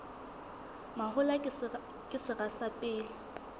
mahola ke sera sa pele